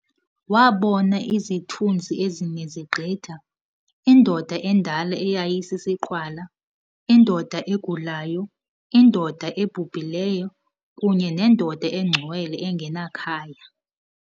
Wabona "izithunzi ezine zigqitha"- indoda endala eyayisisiqhwala, indoda egulayo, indoda ebhubhileyo, kunye nendoda engcwele engenakhaya.